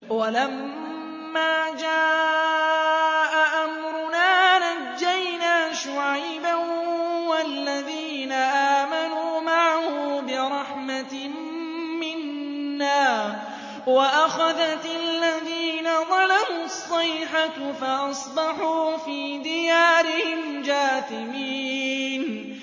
وَلَمَّا جَاءَ أَمْرُنَا نَجَّيْنَا شُعَيْبًا وَالَّذِينَ آمَنُوا مَعَهُ بِرَحْمَةٍ مِّنَّا وَأَخَذَتِ الَّذِينَ ظَلَمُوا الصَّيْحَةُ فَأَصْبَحُوا فِي دِيَارِهِمْ جَاثِمِينَ